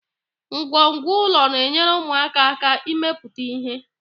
Ngwongwo ụlọ na-enyere ụmụaka aka ịmepụta ihe